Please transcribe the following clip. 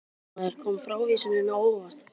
Fréttamaður: Kom frávísunin á óvart?